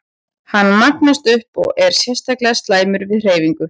Hann magnast upp og er sérstaklega slæmur við hreyfingu.